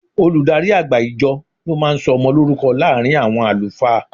Olùdarí àgbà ìjọ ló máa ń sọ ọmọ lórúkọ láàárín àwọn àlùfáà.